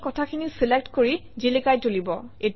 ইয়ে কথাখিনি চিলেক্ট কৰি জিলিকাই তুলিব